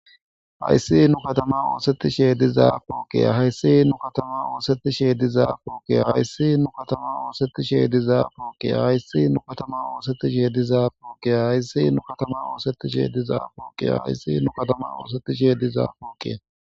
Hayis nu kataman osetish diza poqeya hayisi nu kataman osetish diza poqeya hayisi nu kataman osetish diza poqeya hayisi nu kataman osetish diza poqeya hayisi nu kataman osetish diza poqeya hayisi nu kataman osetish diza poqeya hayisi nu kataman osetish diza poqeya.